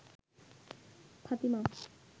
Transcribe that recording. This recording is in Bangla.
ফাতিমা